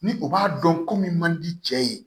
Ni u b'a dɔn ko min man di cɛ ye